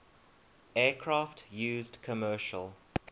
aircraft used commercial